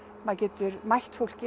maður getur mætt fólki